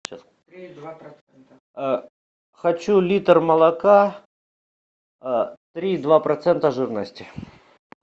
хочу литр молока три и два процента жирности